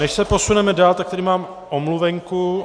Než se posuneme dál, tak tady mám omluvenku.